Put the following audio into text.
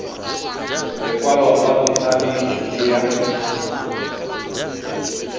lekwalo la botshabi le ya